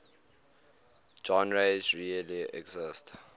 genres really exist